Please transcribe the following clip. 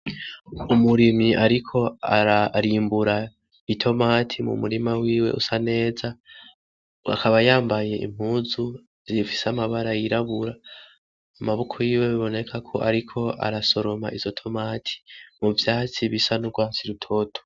Umurimyi ariko arimbura i tomati mu murima wiwe usa neza. Akaba yambaye impuzu zifise amabara yirabura, amaboko yiwe biboneka ko ariko arasoroma izo tomati , mu vyatsi bisa w'urwatsi rutoto.